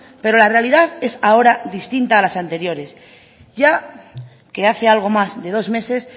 pero la realidad es ahora distinta a las anteriores ya que hace algo más de dos meses